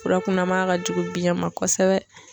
Furakunanya ka jugu biɲɛ ma kosɛbɛ.